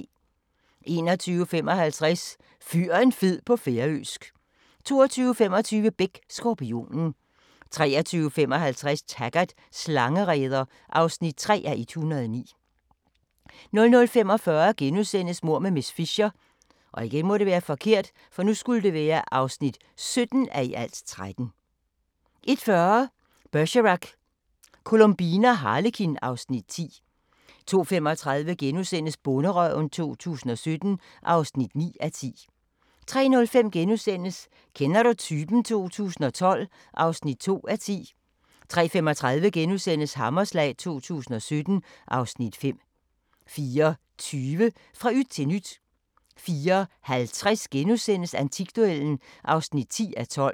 21:55: Fyr en fed på færøsk 22:25: Beck: Skorpionen 23:55: Taggart: Slangereder (3:109) 00:45: Mord med miss Fisher (17:13)* 01:40: Bergerac: Columbine og Harlekin (Afs. 10) 02:35: Bonderøven 2017 (9:10)* 03:05: Kender du typen? 2012 (2:10)* 03:35: Hammerslag 2017 (Afs. 5)* 04:20: Fra yt til nyt 04:50: Antikduellen (10:12)*